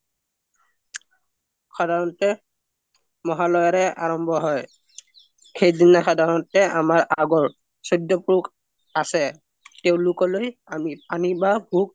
সাধাৰণতে মহালয়াৰে আৰম্ভ হয় সেইদিনা সাধাৰণতে আমাৰ আগৰ চৈধ্য পুৰুষ আছে তোমালোকলই আমি বা ভুগ দৰ্পন কৰু